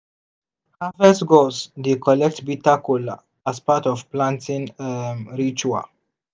harvest gods dey collect bitter kola as part of planting um ritual.